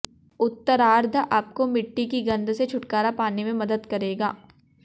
उत्तरार्द्ध आपको मिट्टी की गंध से छुटकारा पाने में मदद करेगा